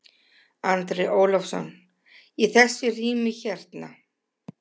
Andri Ólafsson: Í þessu rými hérna?